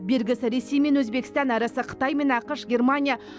бергісі ресей мен өзбекстан әрісі қытай мен ақш германия